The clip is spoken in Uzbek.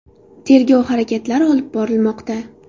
Tergov harakatlari olib borilmoqda.